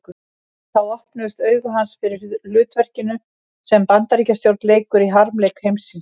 Þá opnuðust augu hans fyrir hlutverkinu sem Bandaríkjastjórn leikur í harmleik heimsins.